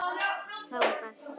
Það var best.